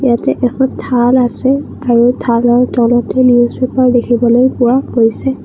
ইয়াতে এখন থাল আছে আৰু থালৰ তলতে নিউজ পেপাৰ দেখিবলৈ পোৱা গৈছে।